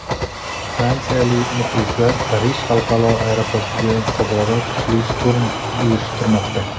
Fransiyalik muxlislar Parij xalqaro aeroportiga tobora kuchli shturm uyushtirmoqda.